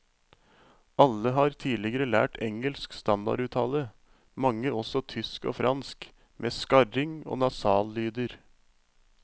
Alle har tidligere lært engelsk standarduttale, mange også tysk og fransk, med skarring og nasallyder.